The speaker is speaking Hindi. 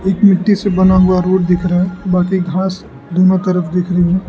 एक मिट्टी से बना हुआ रोड दिख रहा है बाकी घास दोनों तरफ दिख रहे हैं।